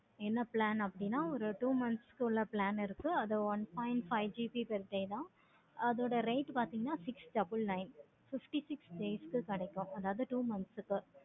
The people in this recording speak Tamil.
என்ன plan அப்படின்னா ஒரு two months க்கு மேல இருக்கு. அது one point five GB செய்யணும். அதோட rate பார்த்தீங்கன்னா six double nine fifty six days க்கு கிடைக்கும். அதாவது two months க்கு